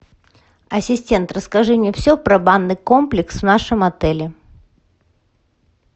ассистент расскажи мне все про банный комплекс в нашем отеле